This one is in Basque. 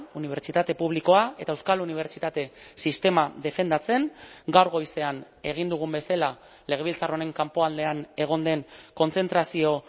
unibertsitate publikoa eta euskal unibertsitate sistema defendatzen gaur goizean egin dugun bezala legebiltzar honen kanpo aldean egon den kontzentrazio